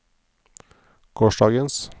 gårsdagens